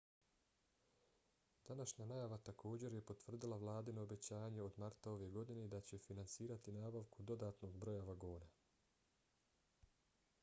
današnja najava također je potvrdila vladino obećanje od marta ove godine da će finansirati nabavku dodatnog broja vagona